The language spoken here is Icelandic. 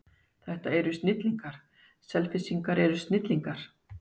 Þetta eru snillingar, Selfyssingar eru snillingar.